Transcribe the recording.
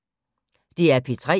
DR P3